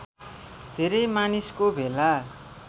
धेरै मानिसको भेला